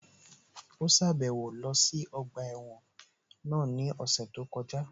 Ó sàbẹ̀wo lọ sí ọgbà ẹ̀wọ̀n náà ní ọ̀sẹ̀ tó kọjá